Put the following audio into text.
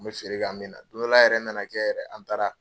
N bɛ feere k'an bɛ na don dɔ la yɛrɛ na na kɛ yɛrɛ an taara